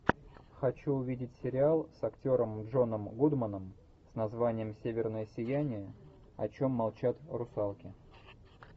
хочу увидеть сериал с актером джоном гудманом с названием северное сияние о чем молчат русалки